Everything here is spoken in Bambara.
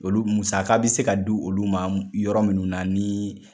Olu musaka be se ka di olu ma yɔrɔ munnu na ni